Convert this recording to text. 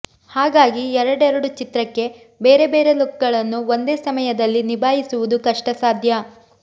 ಹಾಗಾಗಿ ಎರಡೆರಡು ಚಿತ್ರಕ್ಕೆ ಬೇರೆ ಬೇರೆ ಲುಕ್ ಗಳನ್ನು ಒಂದೇ ಸಮಯದಲ್ಲಿ ನಿಭಾಯಿಸುವುದು ಕಷ್ಟಸಾಧ್ಯ